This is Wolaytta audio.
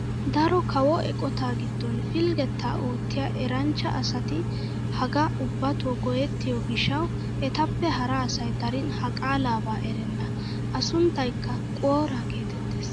Daro kawo eqotaa giddon pilggetaa oottiyaa eranchcha asati hagaa ubbatoo go"ettiyoo gishshawu etappe hara asay darin ha qaalabaa erenna a sunntaykka "Quora" getettees.